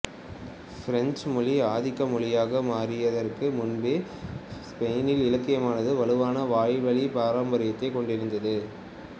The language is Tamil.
பிரெஞ்சு மொழி ஆதிக்க மொழியாக மாறியதற்கு முன்பே பெனினில் இலக்கியமானது வலுவான வாய்வழி பாரம்பரியத்தை கொண்டிருந்தது